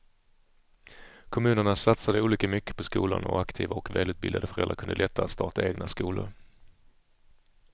Kommunerna satsade olika mycket på skolan och aktiva och välutbildade föräldrar kunde lättare starta egna skolor.